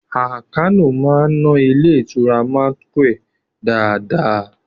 Àkànó a máa ná ilé ìtura manequal dáadáa